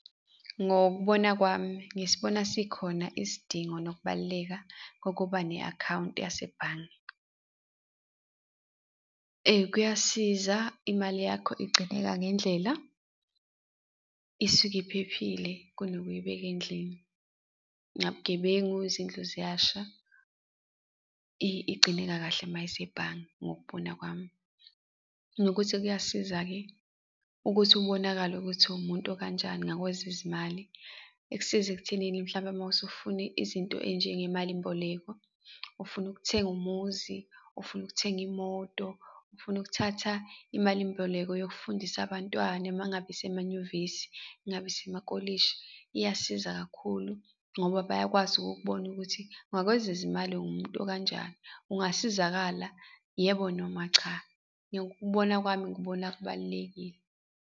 Ngokubona kwami ngisibona sikhona isidingo nokubaluleka kokuba ne-akhawunti yasebhange. Kuyasiza imali yakho igcineka ngendlela, isuke iphephile kunokuyibeka endlini. Nabugebengu, izindlu ziyasha, igcineka kahle mayisebhange, ngokubona kwami. Nokuthi kuyasiza-ke ukuthi ubonakale ukuthi uwumuntu okanjani ngakwezezimali. Ikusiza ekuthenini mhlawumpe mawusufuna izinto ey'njengemalimboleko, ufuna ukuthenga umuzi, ufuna ukuthenga imoto, ufuna ukuthatha imalimboleko yokufundisa abantwana uma ngabe ibesemanyuvesi, kungaba isemakolishi, iyasiza kakhulu ngoba bayakwazi ukukubona ukuthi ngakwezezimali ungumuntu okanjani? Ungasizakala, yebo noma cha? Ngokubona kwami ngikubona kubalulekile.